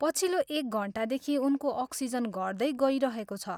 पछिल्लो एक घन्टादेखि उनको अक्सिजन घट्दै गइरहेको छ।